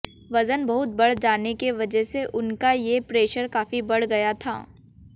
वजन बहुत बढ़ जाने के वजह से उनका ये प्रेशर काफी बढ़ गया था